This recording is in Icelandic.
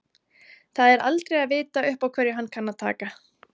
Það er aldrei að vita upp á hverju hann kann að taka.